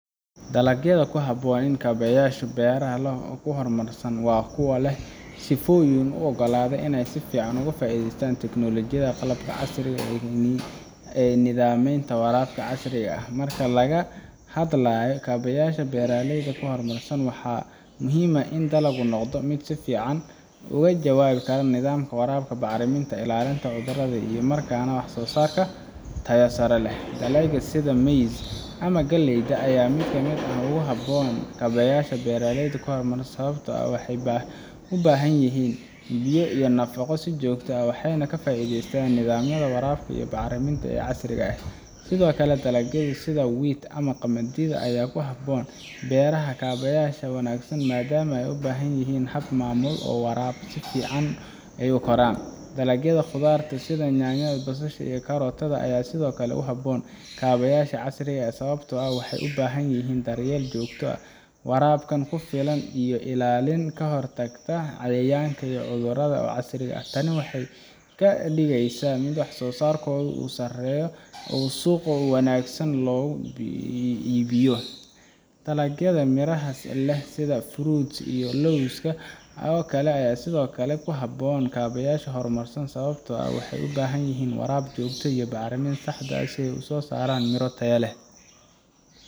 Dalagyada ku habboon kaabayaasha beeraha ee horumarsan waa kuwa leh sifooyin u oggolaanaya inay si fiican uga faa’iidaystaan tiknoolajiyada, qalabka casriga ah iyo nidaamyada waraabka casriga ah. Marka laga hadlayo kaabayaasha beeraha horumarsan, waxaa muhiim ah in dalagu noqdo mid si fiican uga jawaaba nidaamka waraabka, bacriminta, iyo ilaalinta cudurada, isla markaana soo saara wax soo saar tayo sare leh. Dalagyada sida maize ama galleyda ayaa ka mid ah kuwa aad ugu habboon kaabayaasha beeraha horumarsan sababtoo ah waxay u baahan yihiin biyo iyo nafaqo si joogto ah, waxayna ka faa’iidaystaan nidaamyada waraabka iyo bacriminta ee casriga ah. Sidoo kale, dalagyada sida wheat ama qamadiga ayaa ku habboon beeraha leh kaabayaasha wanaagsan maadaama ay u baahan yihiin hab maamul iyo waraab fiican si ay u koraan. Dalagyada khudaarta sida yaanyada, basasha iyo karootada ayaa sidoo kale ku habboon kaabayaasha casriga ah, sababtoo ah waxay u baahan yihiin daryeel joogto ah, waraab ku filan iyo ilaalin ka hortagga cayayaanka iyo cudurada oo casri ah. Tani waxay ka dhigeysaa in wax soo saarkoodu sareeyo oo suuqyada si wanaagsan loogu iibiyo. Dalagyada miraha leh sida fruits iyo lawska oo kale ayaa sidoo kale ku habboon kaabayaasha horumarsan, sababtoo ah waxay u baahan yihiin waraab joogto ah iyo bacriminta saxda ah si ay u soo saaraan miro tayo leh